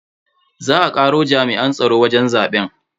Za a karo jami'an tsaro wajen zaben.